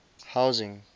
housing